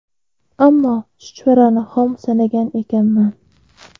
Ammo chuchvarani xom sanagan ekanman.